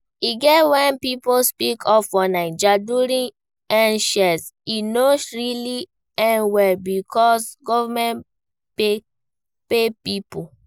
E get when pipo speak up for naija during End Sars, e no really end well because government kpai pipo